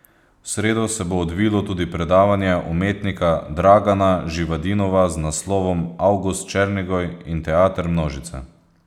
V sredo se bo odvilo tudi predavanje umetnika Dragana Živadinova z naslovom Avgust Černigoj in teater množice.